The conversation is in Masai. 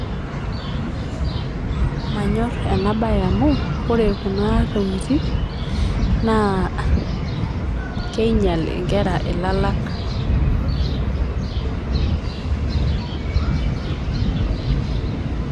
manyorr ena bae amu ore kuna tokitik naa kinyal inkerra ilalak.